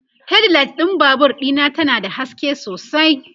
headlight ɗin Babur Dina ta na da haske sosai